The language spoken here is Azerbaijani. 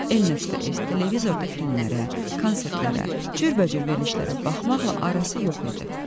EN.ES televizorda filmlərə, konsertlərə, cürbəcür verilişlərə baxmaqla arası yox idi.